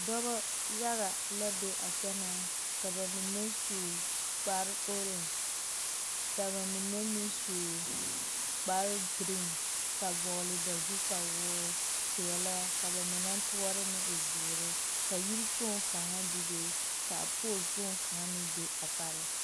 Dɔbɔ yaga la be a kyɛnaa ka ba mine su kpare-oorangy ka ba mine meŋ su kpare-giriiŋ ka vɔgele ba zu kpawoor-peɛlaa ka ba mine toɔre meŋ e zeere ka yiri kpoŋ kaŋa bebe ka pool kpoŋ kaŋa meŋ be a pareŋ.